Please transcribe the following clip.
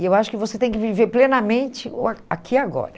E eu acho que você tem que viver plenamente o a aqui e agora.